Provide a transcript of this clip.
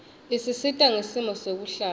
isisita ngesimo sekuhlala